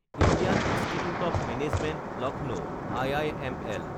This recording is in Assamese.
Indian institute of management Lucknow (IIML)